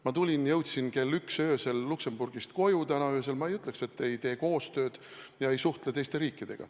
Ma jõudsin täna öösel kell üks Luksemburgist tagasi, ma ei ütleks, et ma ei tee koostööd ega suhtle teiste riikidega.